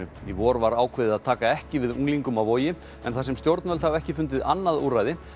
í vor var áveðið að taka ekki við unglingum á Vogi en þar sem stjórnvöld hafa ekki fundið annað úrræði